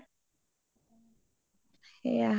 সেইয়া